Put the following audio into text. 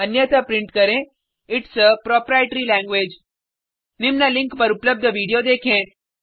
अन्यथा प्रिंट करें it's a proprietary language निम्न लिंक पर उपलब्ध वीडियो देखें